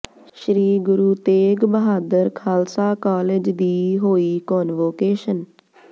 ਸ਼੍ਰੀ Guru Tegh Bahadur Khalsa college ਦੀ ਹੋਈ convocation